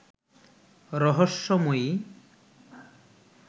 রহস্যময়ী